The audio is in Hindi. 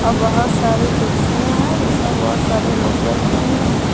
बहोत सारे कुर्सियां हैं जिसमें बहोत सारे लोग बैठे हुए हैं।